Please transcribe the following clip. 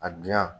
A dilan